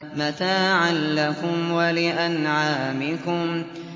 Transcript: مَّتَاعًا لَّكُمْ وَلِأَنْعَامِكُمْ